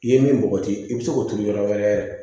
I ye min bɔgɔti i bi se k'o turu yɔrɔ wɛrɛ yɛrɛ